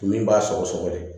Min b'a sɔgɔsɔgɔli